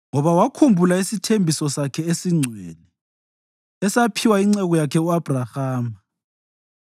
Ngoba wakhumbula isithembiso sakhe esingcwele esaphiwa inceku yakhe u-Abhrahama.